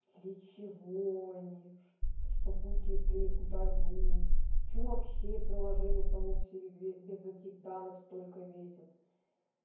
для чего они что будет если их удалю почему вообще приложение само по себе без этих данных сколько весят